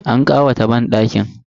An ƙawata banɗakin.